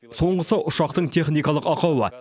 соңғысы ұшақтың техникалық ақауы